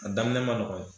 A daminɛ man nɔgɔn